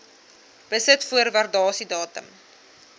besit voor waardasiedatum